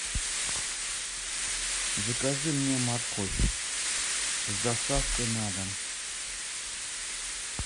закажи мне морковь с доставкой на дом